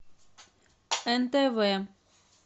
нтв